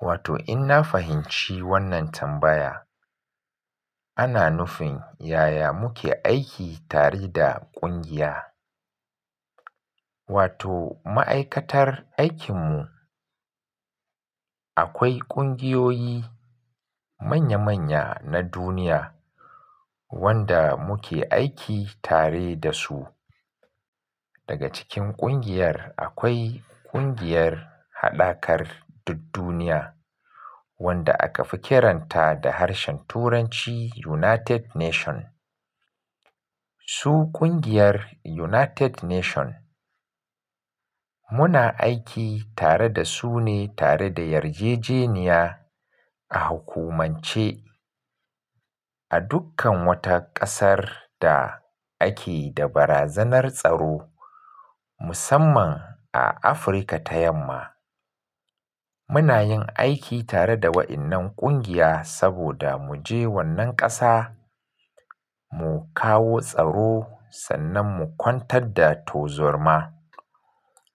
Wato in na fahimci wannan tambaya, ana nufin yaya muke aiki tare da ƙungiya. Wato ma'aikatar aikin mu. Akwai ƙungiyoyi manya manya na duniya. Wanda muke aiki tare da su. Daga cikin ƙungiyar akwai ƙungiyar Haɗakar Dud duniya. Wanda aka fi kiranta da harshen Turanci United Nation. Su ƙungiyar United Nation Muna aiki tare da su ne tare da yarjejeniya. A hukumance a dukkan wata ƙasar da ake da barazanar tsaro. Musamman a Afirka ta Yamma. Muna yin aiki tare da waɗannan ƙungiya saboda mu je wannan ƙasa. Mu kawo tsaro sannan mu kwantar da to zarma.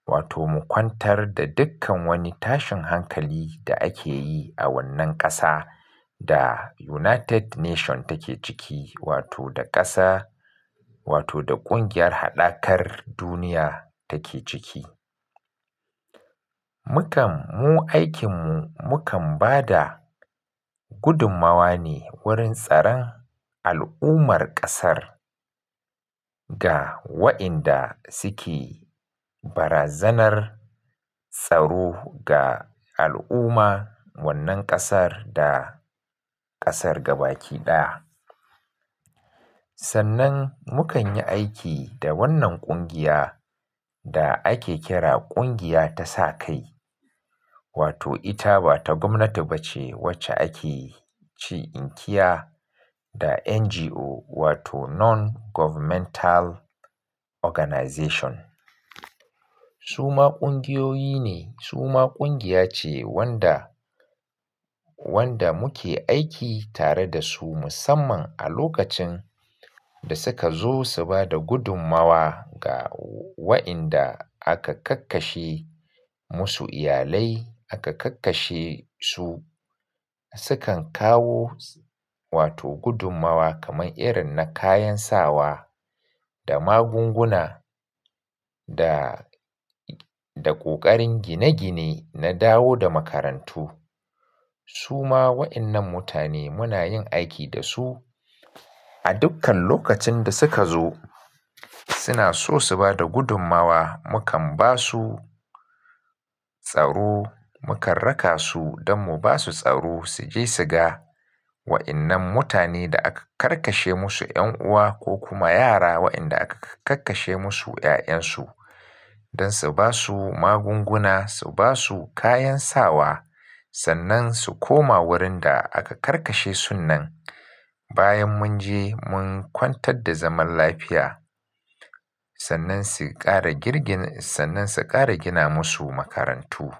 Wato mu kwantar da dukkan wani tashin hankali da ake yi a wannan ƙasa da United Nation take ciki wato da ƙasa wato da ƙungiyar Haɗakar Duniya take ciki. Mu kam mu aikin mu mu kam ba da gudummawa ne wurin tsaran al'ummar ƙasar. Ga wa inda suke barazanar tsaro ga al'umma, wannan ƙasar da ƙasar gabaki ɗaya. Sannan mu kan yi aiki da wannan ƙungiya da ake kira ƙungiya ta sakai wato ita ba ta gwamnati ba ce wacce ake ci inkia, da NGO wato Non Governmental Organization. Su ma ƙungiyoyi ne su ma ƙungiya ce wanda, wanda muke aiki tare da su musamman a lokacin, da suka zo su ba da gudummawa ga wa inda aka kakkashe musu iyalai aka kakkashe su. Su kan kawo wato gudummawa kamar irin na kayan sawa da magunguna da, da ƙoƙarin gine-gine na dawo da makarantu. Su ma waɗannan mutane muna yin aiki da su a dukkan lokacin da suka zo suna so su ba da gudummawa mu kam ba su tsaro mu karraka su don mu ba su tsaro su je su ga, waɗannan mutane da aka karkashe musu ƴan uwa ko kuma yara wa inda aka kakkashe musu ƴaƴansu, don su ba su magunguna su ba su kayan sawa sannan su koma wurin da aka karkashe sun nan bayan mun je mun kwantar da zaman lafiya sannan su ƙara girgin sannan su ƙara gina musu makarantu.